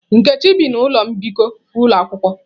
Nkechi bi na ụlọ mbikọ ụlọ akwụkwọ.